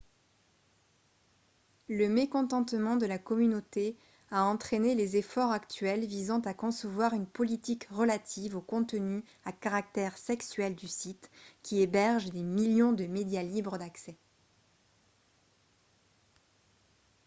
le mécontentement de la communauté a entraîné les efforts actuels visant à concevoir une politique relative au contenu à caractère sexuel du site qui héberge des millions de médias libres d'accès